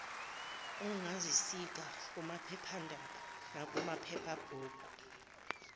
ongazisika kumaphephanda nakumaphephabhuku